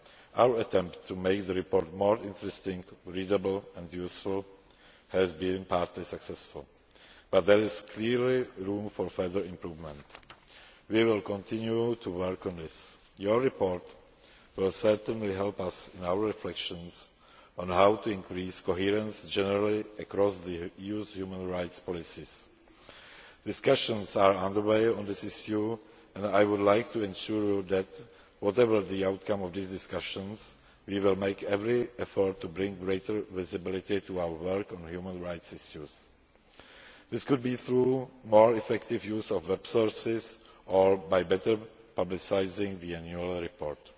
Our attempt to make the report more interesting, readable and useful has been partly successful, but there is clearly room for further improvement. We will continue to work on this. Your report will certainly help us in our reflections on how to increase coherence generally across the EU's human rights policies. Discussions are under way on this issue and I would like to assure you that, whatever the outcome of these discussions, we will make every effort to bring greater visibility to our work on human rights issues. This could be through more effective use of web sources or by better publicising the annual report.